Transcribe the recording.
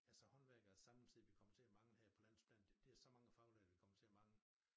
Altså håndværkere samme tid vi kommer til at mangle her på landsplan det det så mange faglærte vi kommer til at mangle